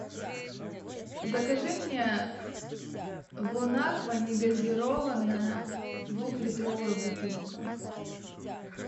закажи мне бонаква негазированная двухлитровая бутылка